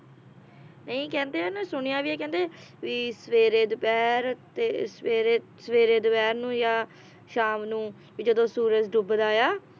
ਨਈ ਕਹਿੰਦੇ ਆ ਨਾ ਸੁਣਿਆ ਵੀ ਆ ਕਹਿੰਦੇ, ਵੀ ਸਵੇਰੇ, ਦੁਪਹਿਰ ਤੇ ਸਵੇਰੇ ਸਵੇਰੇ ਦੁਪਹਿਰ ਨੂੰ ਯਾ ਸ਼ਾਮ ਨੂੰ ਵੀ ਜਦੋਂ ਸੂਰਜ ਡੁੱਬਦਾ ਆ